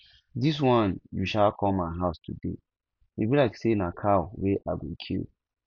dis wan you um come my house today e be like say na cow wey i go kill